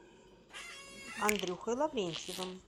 андрюхой лаврентьевым